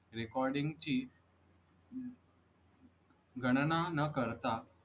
recording ची गणना न करता